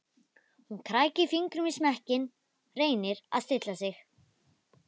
Hún krækir fingrum í smekkinn, reynir að stilla sig.